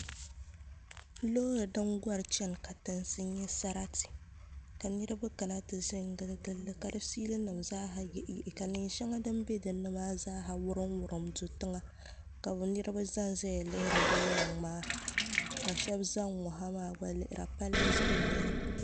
Loori din gɔri chɛni katinsi n nyɛ sarati ka niraba kana ti ʒɛ n gili gilli ka di fiili nim zaaha yihi ka neen shɛli din bɛ dinni maa zaa wurim wurim do tiŋa ka niraba ʒɛnʒɛya lihiri din niŋ maa ka shab ʒɛ n ŋɔ ha maa gba lihira palli zuɣu n nyɛli